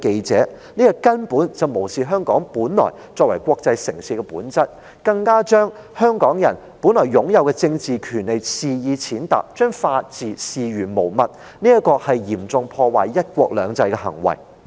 這根本無視了香港作為國際城市的本質，更把香港人本來擁有的政治權利肆意踐踏，把法治視如無物，是嚴重破壞"一國兩制"的行為。